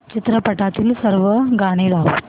चित्रपटातील सर्व गाणी लाव